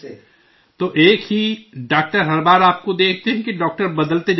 تو ایک ہی ڈاکٹر ہر بار آپ کو دیکھتے ہیں کہ ڈاکٹر بدلتے جاتے ہیں؟